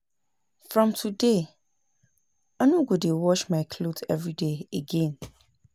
From today I no go dey wash my cloth everyday again